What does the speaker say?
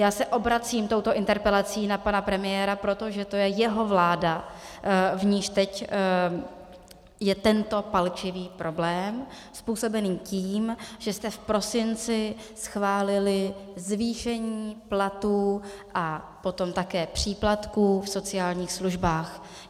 Já se obracím touto interpelací na pana premiéra, protože to je jeho vláda, v níž teď je tento palčivý problém, způsobený tím, že jste v prosinci schválili zvýšení platů a potom také příplatků v sociálních službách.